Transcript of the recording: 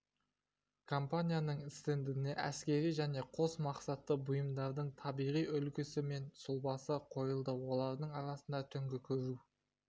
компанияның стендіне әскери және қос мақсатты бұйымдардың табиғи үлгісі мен сұлбасы қойылды олардың арасында түнгі көру